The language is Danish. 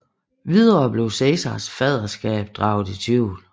Videre blev Cæsars faderskab draget i tvivl